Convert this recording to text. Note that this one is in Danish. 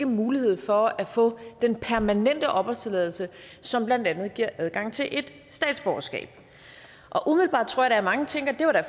mulighed for at få den permanente opholdstilladelse som blandt andet giver adgang til et statsborgerskab umiddelbart tror jeg at mange tænker at